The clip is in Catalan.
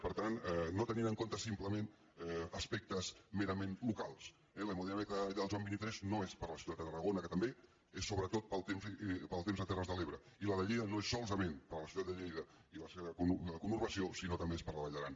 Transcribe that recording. per tant no tenint en compte simplement aspectes me·rament locals eh l’hemodinàmica allà en el joan xxiii no és per a la ciutat de tarragona que també és sobretot pel temps de terres de l’ebre i la de lleida no és solament per a la ciutat de lleida i la seva conur·bació sinó que també és per a la vall d’aran